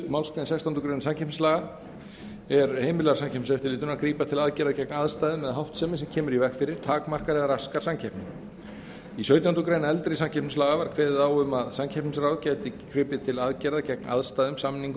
málsgrein sextándu grein samkeppnislaga er heimilar samkeppniseftirlitinu að grípa til aðgerða gegn aðstæðum eða háttsemi sem kemur í veg fyrir takmarkar eða raskar samkeppni í sautjándu grein eldri samkeppnislaga var kveðið á um að samkeppnisráð gæti gripið til aðgerða gegn aðstæðum samningum